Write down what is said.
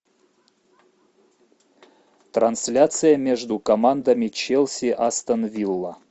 трансляция между командами челси астон вилла